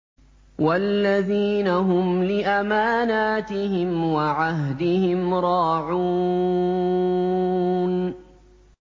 وَالَّذِينَ هُمْ لِأَمَانَاتِهِمْ وَعَهْدِهِمْ رَاعُونَ